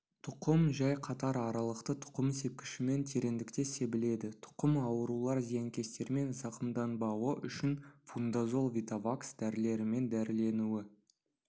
тұқым жай қатар аралықты тұқым сепкішімен тереңдікте себіледі тұқым аурулар зиянкестермен зақымданбауы үшін фундазол витавакс дәрілерімен дәріленуі